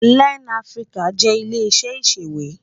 Lèn Afiriká jè ilé iṣè iṣéwé